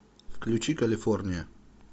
включи калифорния